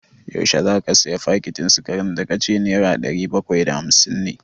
Yaushe za ka sayi fakitin sikarin da ka ce nera ɗari bakwai da hamsin ne?